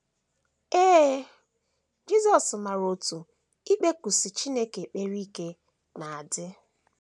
Ee, Jisọs maara otú ikpekusi Chineke ekpere ike na - adị.